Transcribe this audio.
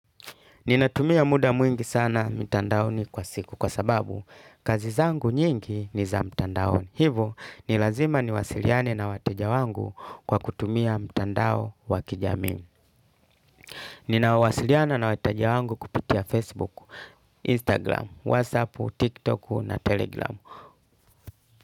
Ninatumia muda mwingi sana mitandaoni kwa siku kwa sababu kazi zangu nyingi ni za mtandaoni. Hivo nilazima niwasiliane na wateja wangu kwa kutumia mtandao wakijamii. Ninawasiliana na wateja wangu kupitia Facebook, Instagram, WhatsApp, TikTok na Telegram.